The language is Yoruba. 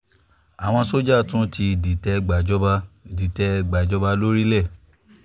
àwọn sójà tún ti dìtẹ̀ gbàjọba dìtẹ̀ gbàjọba lórílẹ̀